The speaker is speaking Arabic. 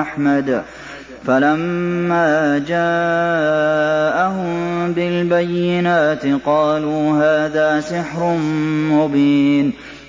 أَحْمَدُ ۖ فَلَمَّا جَاءَهُم بِالْبَيِّنَاتِ قَالُوا هَٰذَا سِحْرٌ مُّبِينٌ